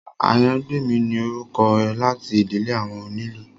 Àyàngbèmí ni orúkọ láti ìdílé àwọn onílù